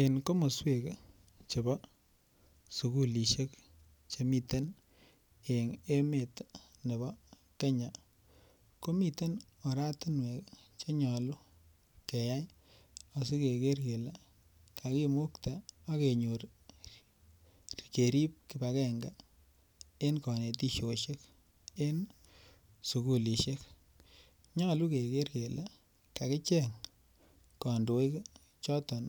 En komoswek chebo sugulishek chemiten en emet nebo Kenya komiten oratinwek chenyolu keyai asikeker kele kakimukte ak kenyor kerib kipagenge en kanetishoshek en sugulishek, nyolu keker kele kakicheng kondoik choton